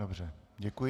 Dobře, děkuji.